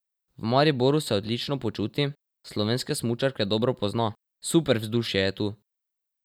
V Mariboru se odlično počuti, slovenske smučarke dobro pozna: 'Super vzdušje je tu.